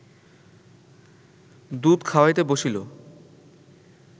দুধ খাওয়াইতে বসিল